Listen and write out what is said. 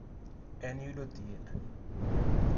En yudo thieth.